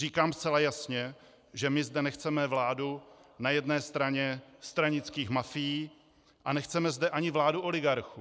Říkám zcela jasně, že my zde nechceme vládu na jedné straně stranických mafií a nechceme zde ani vládu oligarchů.